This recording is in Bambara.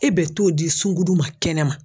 E bɛ t'o di sunkuru ma kɛnɛma